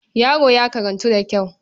Yaro ya karantu da kyau.